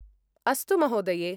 अस्तु महोदये!